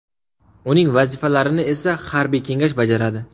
Uning vazifalarini esa harbiy kengash bajaradi.